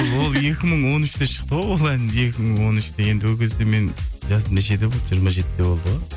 ол екі мың он үште шықты ғой ол ән екі мың он үште енді ол кезде менің жасым нешеде болды жиырма жетіде болды ғой